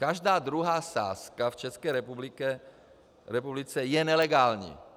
Každá druhá sázka v České republice je nelegální.